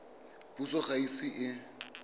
puso ga e ise e